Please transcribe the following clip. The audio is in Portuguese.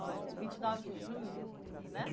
Olha, vinte e nove de julho, né?